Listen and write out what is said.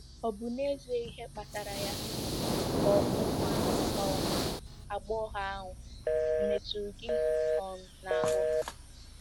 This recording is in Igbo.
"Ọ̀ bụ n'ezie ihe kpatara ya, ka ọ̀ bụ nwa um agbọghọ ahụ ọ̀ metụrụ gị um n'ahụ?"